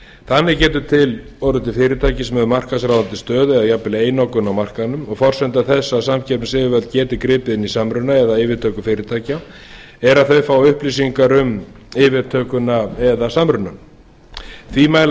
þannig getur orðið til fyrirtæki sem hefur markaðsráðandi stöðu eða jafnvel einokun á markaðnum og forsenda þess að samkeppnisyfirvöld geti gripið inn í samruna eða yfirtöku fyrirtækja er að þau fái upplýsingar um yfirtökuna eða samrunann því mæla